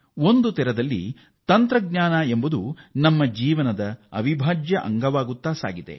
ಒಂದು ರೀತಿಯಲ್ಲಿ ತಂತ್ರಜ್ಞಾನ ನಮ್ಮ ಬದುಕಿನ ಅವಿಭಾಜ್ಯ ಅಂಗವಾಗಿ ಹೋಗಿದೆ